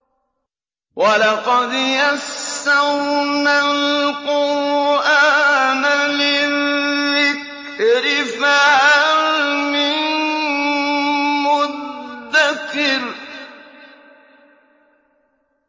وَلَقَدْ يَسَّرْنَا الْقُرْآنَ لِلذِّكْرِ فَهَلْ مِن مُّدَّكِرٍ